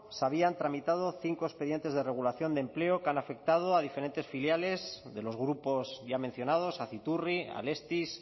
se habían tramitado cinco expedientes de regulación de empleo que han afectado a diferentes filiales de los grupos ya mencionados aciturri alestis